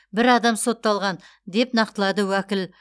бір адам сотталған деп нақтылады уәкіл